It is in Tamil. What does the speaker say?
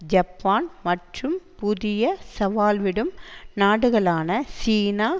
ஜப்பான் மற்றும் புதிய சவால் விடும் நாடுகளான சீனா